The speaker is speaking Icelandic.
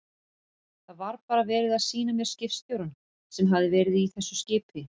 Það var bara verið að sýna mér skipstjórann sem hafði verið í þessu skipi.